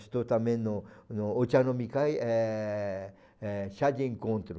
Estou também no no Ochanomikai, eh eh chá de encontro.